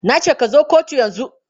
Na ce ka zo kotu yanzu!